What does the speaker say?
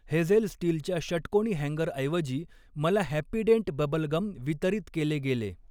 Hazel स्टीलच्या षटकोनी हॅन्गरऐवजी, मला हॅपीडेंट बबल गम वितरित केले गेले.